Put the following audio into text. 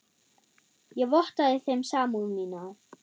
Ég vottaði þeim samúð mína.